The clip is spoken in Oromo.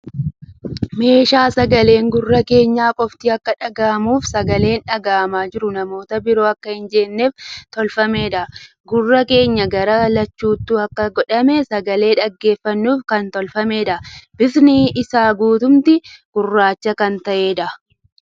Meeshaa sagaleen gurra keenya qofatti akka dhagahamuu fii sagaleen dhagahamaa jiru namoota biroo akka hin jeeqneef tolfameedha. Gurra keenya gara lachuttu akka godhamee sagalee dhaggeeffannuuf kan tolfameedha. Bifti isaa guutumti gurraacha kan ta'eedha.